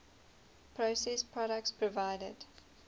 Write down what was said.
processed products provided